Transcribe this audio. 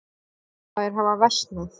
Þær hafa versnað.